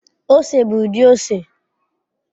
Ose bụ ụdị ose